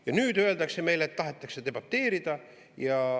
Ja nüüd öeldakse meile, et tahetakse debateerida.